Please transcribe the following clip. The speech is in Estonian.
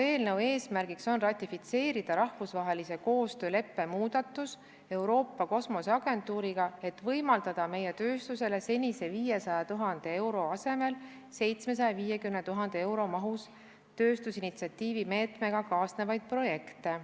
Eelnõu eesmärk on ratifitseerida Euroopa Kosmoseagentuuriga sõlmitud rahvusvahelise koostööleppe muudatus, et võimaldada meie tööstusele senise 500 000 euro asemel 750 000 euro eest tööstusinitsiatiivi meetmega kaasnevaid projekte.